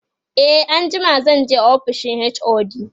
e anjima zanje ofishin HOD